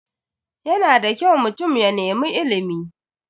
Yana da kyau mutum ya nemi ilimi.